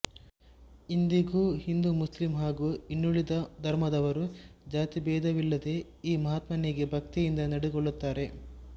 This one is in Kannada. ಇಂದಿಗೂ ಹಿಂದೂಮುಸ್ಲಿಂ ಹಾಗೂ ಇನ್ನುಳಿದ ಧರ್ಮದವರು ಜಾತಿ ಭೇದವಿಲ್ಲದೆ ಈ ಮಹಾತ್ಮನಿಗೆ ಭಕ್ತಿಯಿಂದ ನಡೆದುಕೊಳ್ಳುತ್ತಾರೆ